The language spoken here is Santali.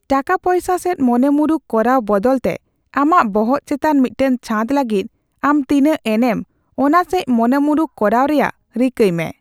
ᱴᱟᱠᱟᱯᱚᱭᱥᱟ ᱥᱮᱪ ᱢᱚᱱᱮᱢᱩᱨᱩᱠ ᱠᱚᱨᱟᱣ ᱵᱚᱫᱚᱞᱛᱮ, ᱟᱢᱟᱜ ᱵᱚᱦᱚᱜ ᱪᱮᱛᱟᱱ ᱢᱤᱫᱴᱟᱝ ᱪᱷᱟᱫ ᱞᱟᱹᱜᱤᱫ ᱟᱢ ᱛᱤᱱᱟᱹᱜ ᱮᱱᱮᱢ ᱚᱱᱟ ᱥᱮᱪ ᱢᱚᱱᱮᱢᱩᱨᱩᱠ ᱠᱚᱨᱟᱣ ᱨᱮᱟᱜ ᱨᱤᱠᱟᱹᱭ ᱢᱮ ᱾